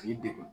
K'i degun